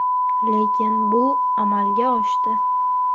Lekin bu amalga oshdi.